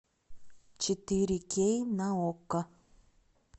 четыре кей на окко